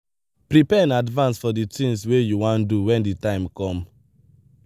prepare in advance for the things wey you wan do when di time come